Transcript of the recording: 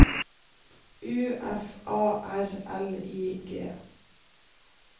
U F A R L I G